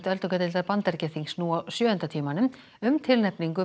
öldungadeildar Bandaríkjaþings nú á sjöunda tímanum um tilnefningu